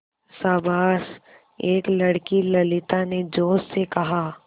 शाबाश एक लड़की ललिता ने जोश से कहा